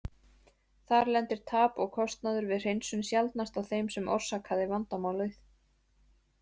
Þar lendir tap og kostnaður við hreinsun sjaldnast á þeim sem orsakaði vandamálið.